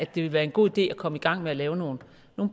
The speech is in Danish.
ville være en god idé at komme i gang med at lave nogle